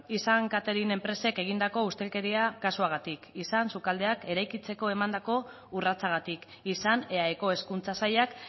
izan catering enpresek egindako ustelkeria kasuagatik izan sukaldeak eraikitzeko emandako urratsagatik izan eaeko hezkuntza sailak